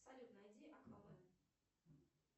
салют найди аквамен